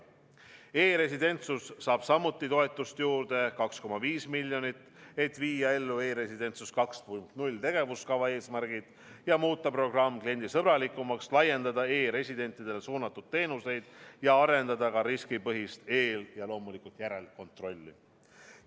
E-residentsus saab samuti toetust juurde, täpsemalt 2,5 miljonit, et viia ellu "E-residentsus 2.0" tegevuskava eesmärgid ja muuta programm kliendisõbralikumaks, laiendada e-residentidele suunatud teenuseid ja arendada ka riskipõhist eel- ja järelkontrolli.